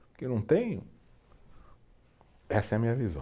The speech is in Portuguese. Porque não tem, essa é a minha visão.